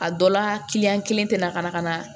A dɔ la kelen tɛ na ka na ka na